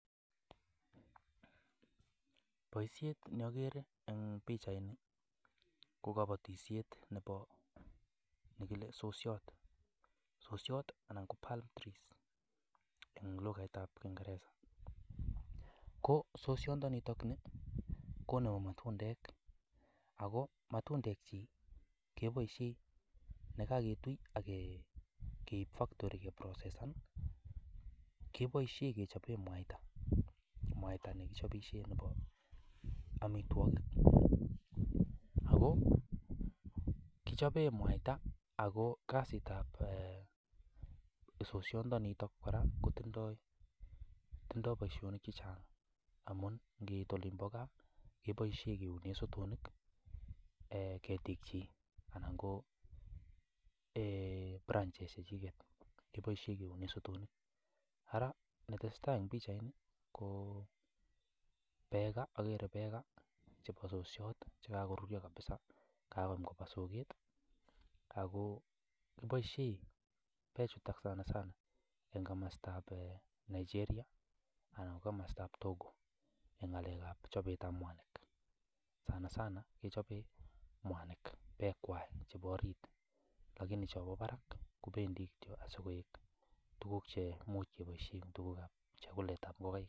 boisiet neagere eng' pichaitni ko kabatisiet nebo nekile sosiot. Sosiot anan ko palm trees ing' lugait ap kingereza . ko sosiondo niitikni ko nebo matundek, ako matundek chiik keboisie nekaketui akeib factory keprocessan keboisie kechobe mwaita, mwaita nekichobisie nebo amitwogik. ako kichobe mwaita ako kasiit ap sosiondo nitok kora kotindoi boisionik chechang' amun ngiit olin pa gaa keboisie keunee sotonik, ketik chiik anan ko branches chechiket keboisie keunee sotonik. ara netesetai ing' pichaitni ko peka, ageere peka chebo sosiot chekakoruryo kabisa kakaoem kobo soket ako kiboisie peek chuutok sanasana ing' komasta ap Nigeria anan komasta ap Togo ing' ng'alek ap chobet ap mwanik. sana sana kechobe mwanik peek kwai chebo orit lakini chobo barak kobendi kityo asikoek tuguk chemuch keboisie ing' tuguk ap chakulet ap ngokaik